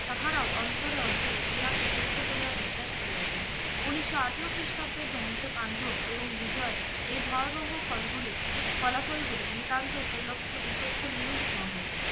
তাহারাও অন্তরে অন্তরে ইহা কে সত্য বলে বিশ্বাস করিয়াছেন উনিস্য আঠেরো খ্রিস্টাব্দে ধ্বংস পাণ্ডব এবং বিজয় এই ভয়াবহ ফলগুলি ফলাফল গুলি নিতান্ত উপলক্ষে উপেক্ষ নিয়োগ নহে